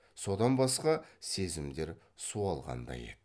содан басқа сезімдер суалғандай еді